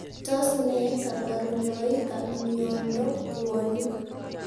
Tos ne kabarunoik ap miondoop puonik ?